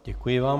Děkuji vám.